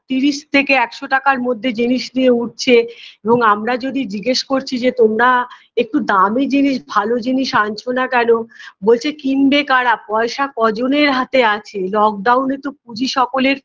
তিরিশ থেকে একশো টাকার মধ্যে জিনিস নিয়ে উঠছে এবং আমরা যদি জিজ্ঞেস করছি যে তোমরা একটু দামি জিনিস ভালো জিনিস আনছো না কেন বলছে কিনবে কারা পয়সা কজনের হাতে আছে lock down -এ তো পুঁজি সকলের